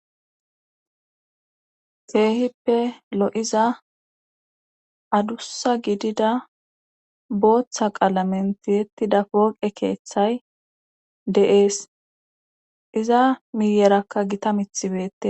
Keehippe lo'iza adussa gidida booththa qalamentihettida kooqe keeththay de'ees iza miyerakka gita mithibeette.